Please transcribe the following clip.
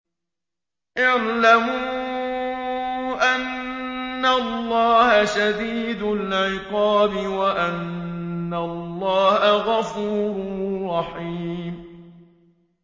اعْلَمُوا أَنَّ اللَّهَ شَدِيدُ الْعِقَابِ وَأَنَّ اللَّهَ غَفُورٌ رَّحِيمٌ